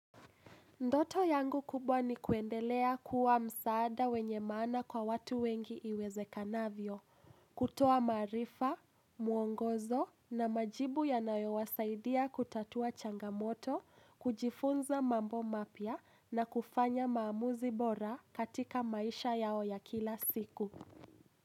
Ndoto yangu kubwa ni kuendelea kuwa msaada wenye maana kwa watu wengi iwezekanavyo, kutoa maarifa, muongozo na majibu yanayo wasaidia kutatua changamoto, kujifunza mambo mapya na kufanya maamuzi bora katika maisha yao ya kila siku.